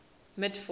mitford's